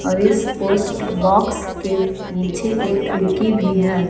और इस post box के पीछे एक खिड़की भी है।